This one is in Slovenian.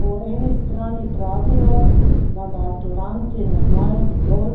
Po eni strani pravijo, da maturanti ne znajo dovolj